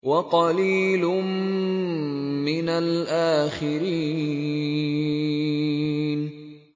وَقَلِيلٌ مِّنَ الْآخِرِينَ